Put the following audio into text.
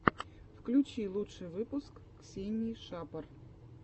включи лучший выпуск ксении шапор